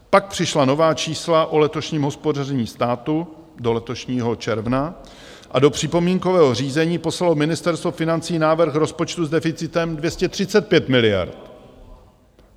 Pak přišla nová čísla o letošním hospodaření státu do letošního června a do připomínkového řízení poslalo Ministerstvo financí návrh rozpočtu s deficitem 235 miliard.